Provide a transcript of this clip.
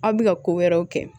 Aw bɛ ka ko wɛrɛw kɛ